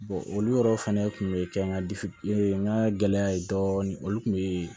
olu yɛrɛ fɛnɛ kun bɛ kɛ n ka n ka gɛlɛya ye dɔɔnin olu kun bɛ